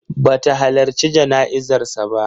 Ba ta halarci jana'izar sa ba.